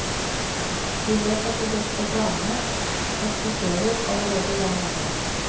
Vi vet at de beste planene eksisterer allerede der nede.